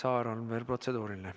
Indrek Saarel on veel protseduuriline.